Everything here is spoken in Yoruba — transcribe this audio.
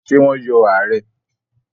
Ṣé wọ́n yọ ààrẹ́?